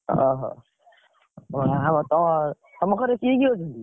ଓହୋ ଅହ ~ଆ ତମ, ତମ ଘରେ କିଏ କିଏ ଅଛନ୍ତି?